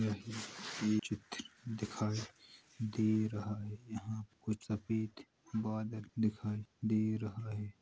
ये चित्र दिखाई दे रहा है | यहां कुछ सफ़ेद बादल दिखाई दे रहा है।